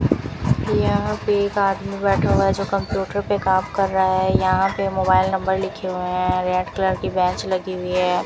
यहां पे एक आदमी बैठा हुआ है जो कंप्यूटर पे काम कर रहा है यहां पे मोबाइल नंबर लिखे हुए हैं रेड कलर की बेंच लगी हुई है।